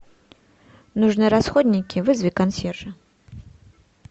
нужны расходники вызови консьержа